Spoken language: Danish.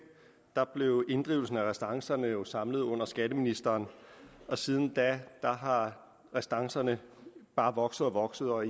blev inddrivelsen af restancerne jo samlet under skatteministeren og siden da er restancerne bare vokset og vokset og